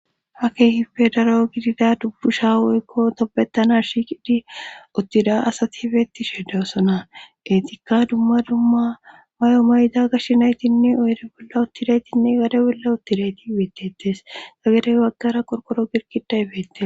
Ha kehippe daro gidida dubbu sha woykko tobettana shiqidi uttida asati hifeti sheddeosona etikka dumma dumma mayo mayda gashshenaytinne oyri bolla uttireetinne gade bolla uttireti ibeettetes ga gadey waggara qorkoro girkida beette